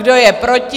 Kdo je proti?